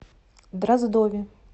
дроздове